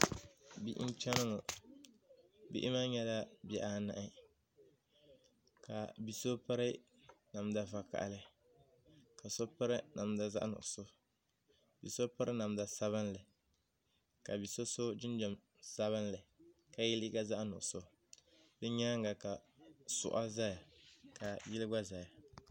Bihi n cheni ŋɔ bihi maa nyɛla bihi anahi ka bia so piri namda vakahali ka so piri namda zaɣa nuɣuso bia so piri namda sabinli ka bia so so jinjiɛm sabinli ka yw liiga zaɣa nuɣuso di nyaanga ka suɣa zayaka yili gba zaya.